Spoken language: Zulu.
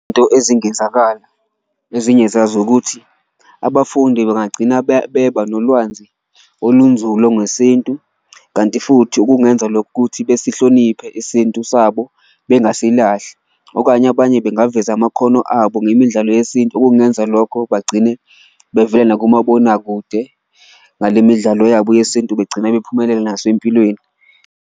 Ezingenzakala ezinye zazo ukuthi abafundi bengagcina beba nolwanzi olunzulu ngesintu, kanti futhi okungenza lokhu ukuthi besihloniphe isintu sabo bengasilahli. Okanye abanye bengaveza amakhono abo ngemidlalo yesintu, okungenza lokho bagcine bevela nakomabonakude ngale midlalo yabo yesintu, begcine bephumelele nasempilweni.